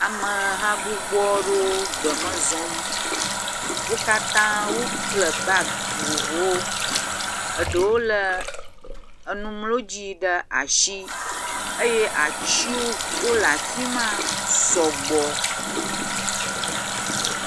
Ameha gbogbo aɖewo gbeme zɔm. wo katã wokple bagi vovovowo. Eɖewo le enumlɔdzi ɖe asi eye atiwo le afi ma sɔ gbɔ.